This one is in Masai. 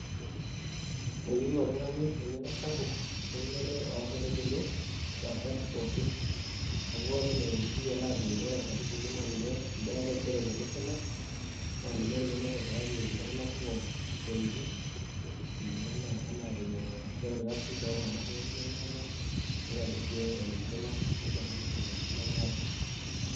Eyieu oltung'ani eng'eno sapuk eunoto oonkaitubulu impaashat pookin amu ore enaa enikiyiolo aajo ore nkaitubulu naa ninye endaa etaisere tolosho lang' naa ninye naitobiraki iltung'anak kumok isiatin kulingana enaa vyenye naishoru irkasin tooltung'anak pookin lemeeta nitobirr sii olosho lang' nisho iltung'anak indaiki lemeeta.